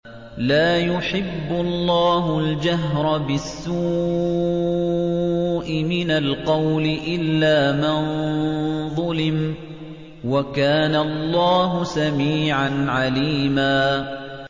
۞ لَّا يُحِبُّ اللَّهُ الْجَهْرَ بِالسُّوءِ مِنَ الْقَوْلِ إِلَّا مَن ظُلِمَ ۚ وَكَانَ اللَّهُ سَمِيعًا عَلِيمًا